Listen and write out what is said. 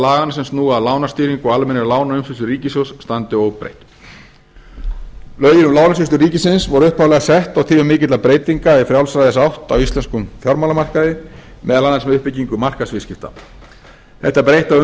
laganna sem snúa að lánastýringu og almennri lánaumsýslu ríkissjóðs standi óbreytt lögin um lánasýslu ríkisins voru upphaflega sett á tímum mikilla breytinga í frjálsræðisátt á íslenskum fjármálamarkaði meðal annars með uppbyggingu markaðsviðskipta þetta breytta